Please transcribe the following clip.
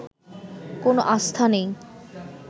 কোন আস্থা নেই